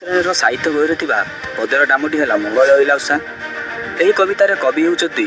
ସାହିତ୍ୟ ବାହିରେ ଥିବା ପଦ୍ୟଟି ନାମ ହେଲା ଏହି କବିତା ର କବି ହେଉଚନ୍ତି --